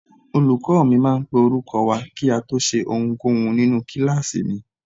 Olùkọ́ mi máa ń pe orúkọ wa kí a tó ṣe ohunkóhun nínú kíláàsì mi.